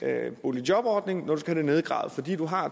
af boligjobordningen når du skal have det nedgravet fordi du